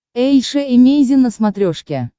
эйша эмейзин на смотрешке